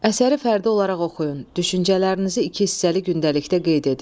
Əsəri fərdi olaraq oxuyun, düşüncələrinizi iki hissəli gündəlikdə qeyd edin.